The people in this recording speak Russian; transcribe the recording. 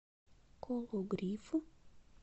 кологрив